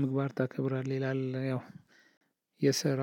ምግባር ታከብራለህ ይላል ያው የስራ